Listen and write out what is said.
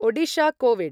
Odisha COVID